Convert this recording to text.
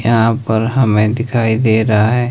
यहां पर हमें दिखाई दे रहा है।